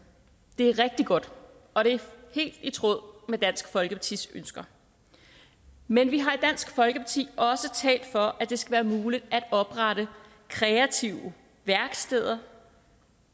det er rigtig godt og det er helt i tråd med dansk folkepartis ønsker men vi har i dansk folkeparti også talt for at det skal være muligt at oprette kreative værksteder